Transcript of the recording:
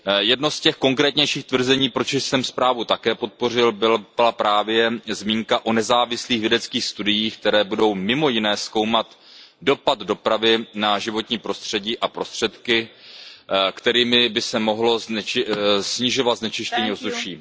Jedno z těch konkrétnějších tvrzení, proč jsem zprávu také podpořil, byla právě zmínka o nezávislých vědeckých studiích, které budou mimo jiné zkoumat dopad dopravy na životní prostředí a prostředky, kterými by se mohlo snižovat znečištění ovzduší.